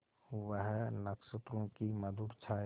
वह नक्षत्रों की मधुर छाया